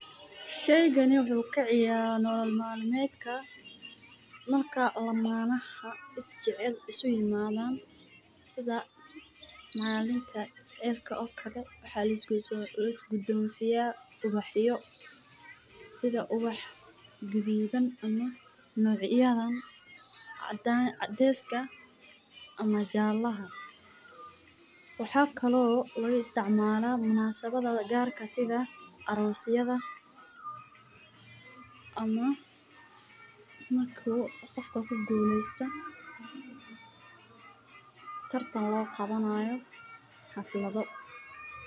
Shaygaani wuxu kaciyara nolol maalmeedka, marka lamanaxa isjecel isuimadan, sidha mainta jacelka okale, waxa lisgudensiya ubaxyo, sidha ubax gududan ama ubaxyadan cadeska ama jalaxa, wa kaloo loisticmala munaasabadaha qarka sidha arosyada ama marku gof u kugulesto tartan logawanayo haflado.